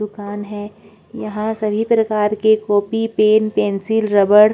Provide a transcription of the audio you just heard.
दुकान हैं यहाँ सभी प्रकार के कोपी पेन पेंसिल रबर --